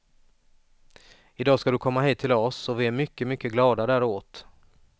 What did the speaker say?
I dag ska du komma hit till oss och vi är mycket, mycket glada däråt.